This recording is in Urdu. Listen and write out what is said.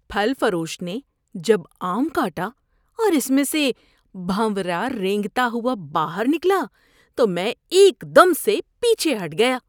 پھل فروش نے جب آم کاٹا اور اس میں سے بھونرا رینگتا ہوا باہر نکلا تو میں ایک دم سے پیچھے ہٹ گیا۔